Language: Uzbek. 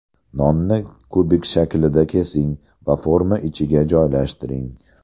Nonni kubik shaklida kesing va forma ichiga joylashtiring.